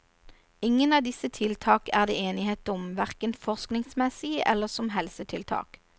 Ingen av disse tiltak er det enighet om, hverken forskningsmessig eller som helsetiltak.